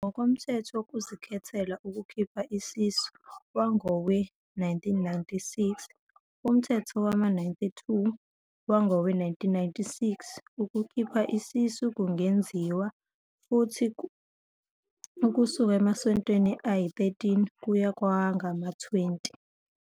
INingizimu Afrika kufanele ukuthi ikhuphule amasokisi ezinyathelweni zayo zokuthi kusokwe abesilisa abasha ukuze kuncishiswe ubungozi bokuthi bathole i-HIV.